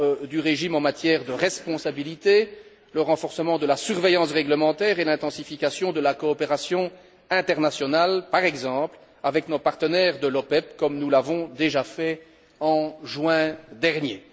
du régime en matière de responsabilités, le renforcement de la surveillance réglementaire et l'intensification de la coopération internationale, par exemple avec nos partenaires de l'OPEP, comme nous l'avons déjà fait en juin dernier.